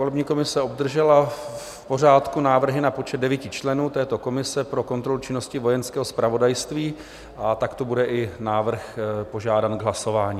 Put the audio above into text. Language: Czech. Volební komise obdržela v pořádku návrhy na počet 9 členů této komise pro kontrolu činnosti Vojenského zpravodajství a takto bude i návrh požádán k hlasování.